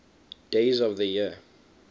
days of the year